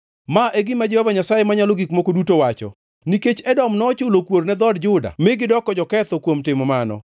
“Ma e gima Jehova Nyasaye Manyalo Gik Moko Duto wacho: ‘Nikech Edom nochulo kuor ne dhood Juda mi gidoko joketho kuom timo mano,